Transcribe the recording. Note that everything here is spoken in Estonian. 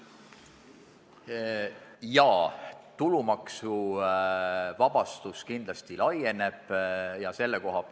Jaa, tulumaksuvabastus kindlasti laieneb sellele.